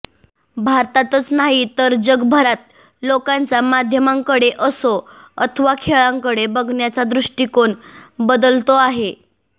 भारतातच नाही तर जगभरात लोकांचा माध्यमांकडे असो अथवा खेळांकडे बघण्याचा दृष्टिकोन बदलतो आहे